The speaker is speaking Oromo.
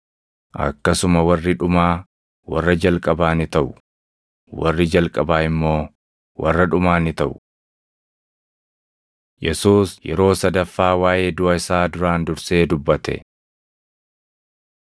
“Akkasuma warri dhumaa warra jalqabaa ni taʼu; warri jalqabaa immoo warra dhumaa ni taʼu.” Yesuus Yeroo Sadaffaa Waaʼee Duʼa Isaa Duraan Dursee Dubbate 20:17‑19 kwf – Mar 10:32‑34; Luq 18:31‑33